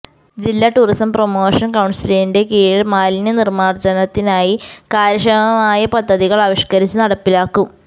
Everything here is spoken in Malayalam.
ജില്ലാ ടൂറിസം പ്രൊമോഷൻ കൌൺസിലിന്റെ കീഴിൽ മാലിന്യ നിർമ്മാർജ്ജനത്തിനായി കാര്യക്ഷമമായ പദ്ധതികൾ ആവിഷ്കരിച്ച് നടപ്പിലാക്കും